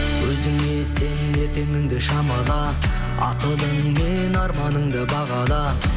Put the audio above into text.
өзіңе сен ертеңіңді шамала ақылың мен арманыңды бағала